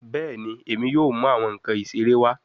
Bẹẹni, Emi yoo mu awọn nkan isere wa